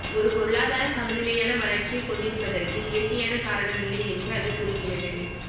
ஒரு பொருளாதாரம் சமநிலையான வளர்ச்சியைக் கொண்டிருப்பதற்கு இயற்கையான காரணம் இல்லை என்று அது கூறுகிறது